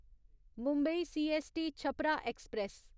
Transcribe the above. Mumbai CST Chhapra express